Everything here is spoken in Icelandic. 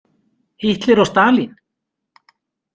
Hitler og Stalín!